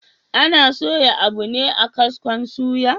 Ana soya abu ne a kaskon suya